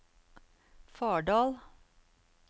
Fardal